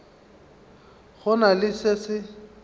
go na le se se